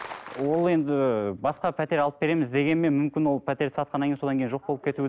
ол енді басқа пәтер алып береміз дегенмен мүмкін ол пәтерді сатқаннан кейін содан кейін жоқ болып кету